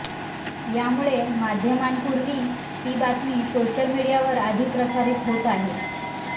यामुळे माध्यमांपूर्वी ती बातमी सोशल मिडियावर आधी प्रसारित होत आहे